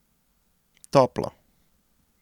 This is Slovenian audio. Toplo.